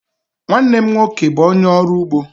Nwanne m nwoke bụ ónyé ọrụ ụgbọ.